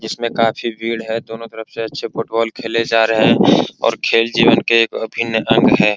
जिसमें काफी भीड़ है दोनों तरफ से अच्छे फुटबॉल खेले जा रहें हैं और खेल जीवन के एक अभिन्न अंग है।